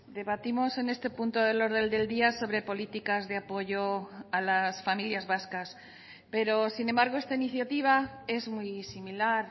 debatimos en este punto del orden del día sobre políticas de apoyo a las familias vascas pero sin embargo esta iniciativa es muy similar